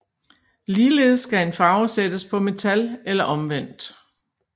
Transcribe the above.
Ligeledes skal en farve sættes på metal eller omvendt